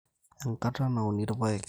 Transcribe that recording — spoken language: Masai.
Enkata nauni irpaek